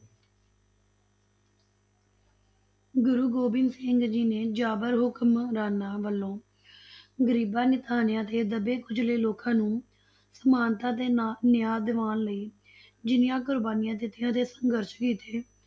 ਗੁਰੂ ਗੋਬਿੰਦ ਸਿੰਘ ਜੀ ਨੇ ਜਾਬਰ ਹੁਕਮਰਾਨਾਂ ਵਲੋਂ ਗਰੀਬਾਂ, ਨਿਤਾਣਿਆ, ਤੇ ਦੱਬੇ ਕੁਚਲੇ ਲੋਕਾਂ ਨੂੰ ਸਮਾਨਤਾ ਤੇ ਨਾ ਨਿਆਂ ਦੀਵਾਣ ਲਈ ਜਿੰਨੀਆਂ ਕੁਰਬਾਨੀਆਂ ਦਿਤੀਆਂ ਤੇ ਸੰਘਰਸ਼ ਕੀਤੇ